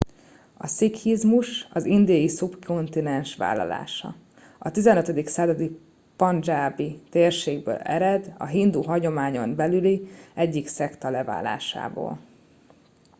a szikhizmus az indiai szubkontinens vallása a 15. századi pandzsábi térségből ered a hindu hagyományon belüli egyik szekta leválásából